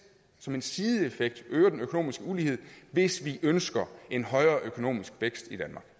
som en sideeffekt øger den økonomiske ulighed hvis vi ønsker en højere økonomisk vækst